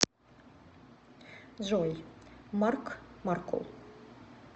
джой марк маркул